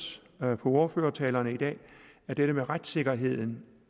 på ordførertalerne i dag at dette med retssikkerheden